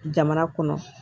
Jamana kɔnɔ